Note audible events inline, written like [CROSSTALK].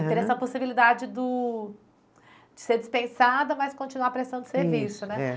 [UNINTELLIGIBLE] E teve essa possibilidade do, de ser dispensada, mas continuar prestando serviço, né?